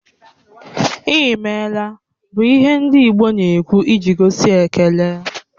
"I meela" bụ ihe ndị Igbo na-ekwụ iji gosi ekele